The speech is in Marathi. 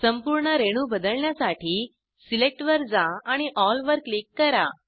संपूर्ण रेणू बदलण्यासाठी सिलेक्ट वर जा आणि एल वर क्लिक करा